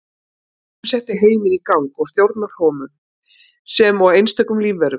Hugurinn setti heiminn í gang og stjórnar honum sem og einstökum lífverum.